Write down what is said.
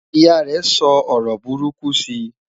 ìyá rè sọ ọrọ buruku si